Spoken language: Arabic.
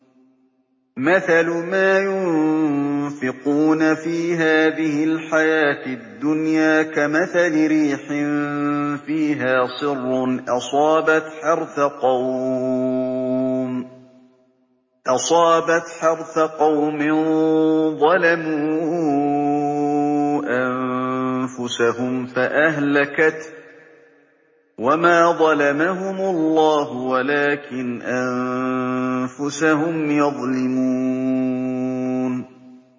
مَثَلُ مَا يُنفِقُونَ فِي هَٰذِهِ الْحَيَاةِ الدُّنْيَا كَمَثَلِ رِيحٍ فِيهَا صِرٌّ أَصَابَتْ حَرْثَ قَوْمٍ ظَلَمُوا أَنفُسَهُمْ فَأَهْلَكَتْهُ ۚ وَمَا ظَلَمَهُمُ اللَّهُ وَلَٰكِنْ أَنفُسَهُمْ يَظْلِمُونَ